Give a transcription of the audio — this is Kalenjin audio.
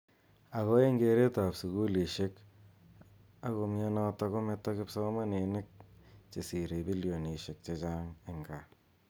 Ako eng keret ab sukulishek ako myontokkokometo kipsomaninik che sire bilonishek che chang eng kaa.